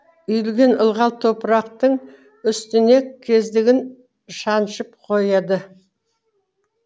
үйілген ылғал топырақтың үстіне кездігін шаншып қояды